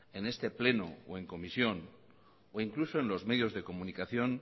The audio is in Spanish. en este pleno o en comisión o incluso en los medios de comunicación